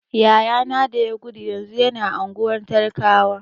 Yaya na da ya gudu yanzu yana unguwar talakawa.